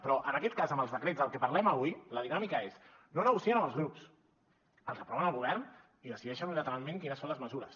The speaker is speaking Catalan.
però en aquest cas amb els decrets dels que parlem avui la dinàmica és no negocien amb els grups els aproven al govern i decideixen unilateralment quines són les mesures